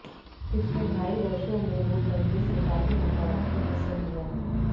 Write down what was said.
पिछले ढाई वर्षों में नोटबंदी से काफी नकारात्मक असर हुआ है